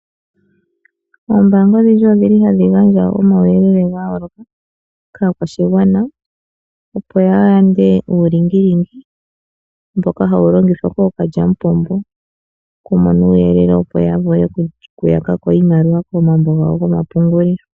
Ombaanga odhindji odhili hadhi gandja omauyelele ga yooloka kaakwashigwana opo ya yande uulingilingi mboka hawu longithwa kookalyamupombo okumona uuyelele opo ya vule okuyaka ko iimaliwa komambo gawo gomapungulilo.